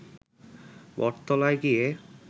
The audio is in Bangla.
বটতলায় গিয়ে